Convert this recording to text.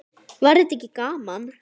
Var þetta ekki gaman?